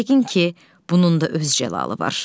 Yəqin ki, bunun da öz cəlalı var.